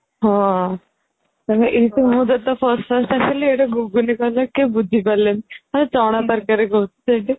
ହଁ ମାନେ ଇଟୁ ମୁଁ ଯେତେ First First ଆସିଲି ଗୁଗୁନି କହିଲେ କେହି ବୁଝି ପାରିଲେନି ମୁଁ ଚଣା ତରକାରୀ କହୁଛି ସେଇଠେ